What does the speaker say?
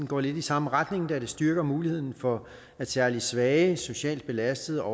går lidt i samme retning da det styrker muligheden for at særlig svage socialt belastede